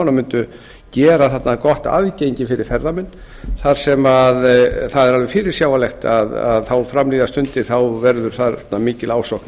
og mundu gera þarna gott aðgengi fyrir ferðamenn þar sem það er alveg fyrirsjáanlegt að þá fram líða stendur verður þarna mikil ásókn